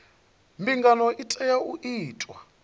mbingano i tea u itwa